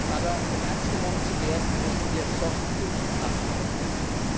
Aber um ernst genommen zu werden, müssen wir soft power und hard power können.